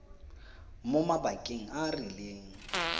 mo mabakeng a a rileng